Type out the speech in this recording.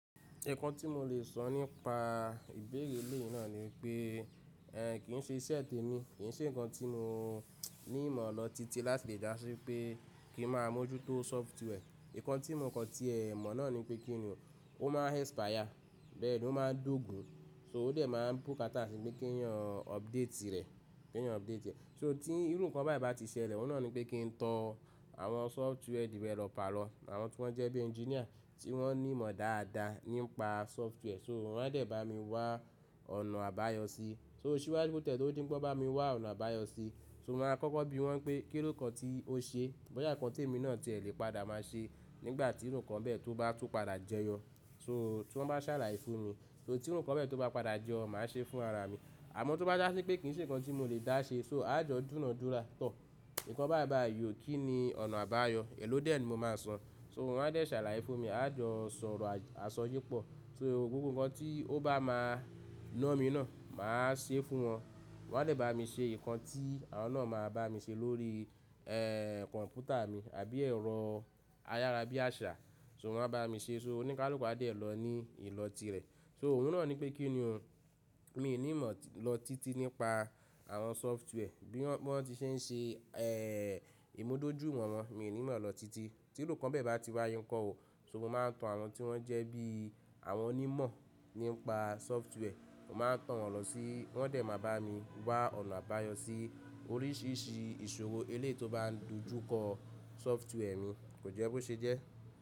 Nǹkan tí mo lè sọ nípa ìbéèrè eléyìí náà ni pé, ẹ kì ń ṣe iṣẹ́ tèmi, kì ń ṣe nǹkan tí mo ní ìmọ̀ lọ títí láti lè jásí pé kí ń máa mójú tó software Nǹkan tí mò kàn ti ẹ̀ mọ̀ náà ni pé kí ni o? Ó máa ń expire, bẹ́ẹ̀ ni, ó máa ń dógùn-ún, so ó dẹ̀ máa ń bùkátà nípé kéèyan update rẹ̀, kéèyan update rlẹ̀. So tí irú nǹkan bẹ́ẹ̀ bá ti ṣẹlẹ̀, òun náà ni pé kí n tọ àwọn software developer lọ, àwọn tí wọ́n jẹ́ bí ẹnjíníà tí wọ́n ní ìmọ̀ dáadáa nípa software So wọ́n á dẹ̀ bá mi wá ọ̀nà àbáyọ sí. So ṣíwájú kó tiẹ̀ tó di ńpé wọ́n bá mi wá ọ̀nà àbáyọ sí i, so mo máa kọ́kọ́ bi wọ́n pé, kí ni nǹkan tí ó ṣeé, bóyá nǹkan tí èmi náà tiẹ̀ lè padà máa ṣe nígbà tírú nǹkan bẹ́ẹ̀ tó bá tún padà jẹyọ. So tí wọ́n bá ṣàlàyé fún mi, so tírú nǹkan bẹ́ẹ̀ tó bá padà yọ, màá ṣeé fúnra ara mi. Àmọ́ tó bá já sí pé kì ń ṣe nǹkan tí mo lè dá ṣe, so àá jọ dúna dúrà. Tọ̀, nǹkan báyìí báyìí ò kí ni ọ̀nà àbáyọ, èló dẹ̀ ni mo máa san? So wọ́n a dẹ̀ sàrà í fún mi, a yọjú sọ̀rọ̀ àsọyépọ̀. So gbogbo nǹkan tí ó bá máa ná mi náà, màá ṣeé fún wọn. Wọn a dẹ̀ bá mi ṣe nǹkan tí àwọn náà máa bá mi ṣe lórí ẹẹ̀ kọ̀ǹpútà mi àbí ẹ̀rọ ayára bí àṣá, so wọ́n á bá mi ṣeé, so oníkálùkù á dẹ̀ lọ ní ìlọ tirẹ̀. So òun náà ni pé kí ni o, miì ní ìmọ̀ lọ títí nípa àwọn software Bí wọ́n ti ṣe ń ṣe ẹẹ̀, ìmúdójú ìwọ̀n wọn, miì nímọ̀ lọ títí. Tírú nǹkan bẹ́ẹ̀ bá ti wáyé ńkọ́ o? So mo máa ń tan àwọn tí wọ́n jẹ́ bí àwọn onímọ̀ nípa software, mo máa ń tan wọn lọ sí i, wọ́n dẹ̀ máa bá mi wá ọ̀nà àbáyọ sí oríṣìíríṣìí ìṣòro èléyìí tó bá ń dojú kọ software mi. Kò jẹ́ bó ṣe jẹ́.